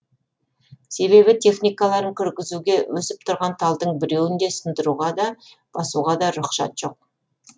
себебі техникаларын кіргізуге өсіп тұрған талдың біреуін де сындыруға да басуға да рұқсат жоқ